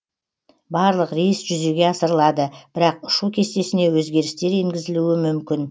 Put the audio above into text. барлық рейс жүзеге асырылады бірақ ұшу кестесіне өзгерістер енгізілуі мүмкін